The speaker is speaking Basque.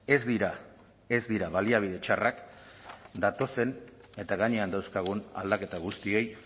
ez dira ez dira baliabide txarrak datozen eta gainean dauzkagun aldaketa guztiei